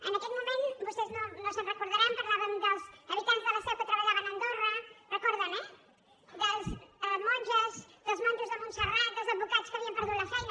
en aquell moment vostès no se’n deuen recordar parlàvem dels habitants de la seu que treballaven a andorra ho recorden eh de monges dels monjos de montserrat dels advocats que havien perdut la feina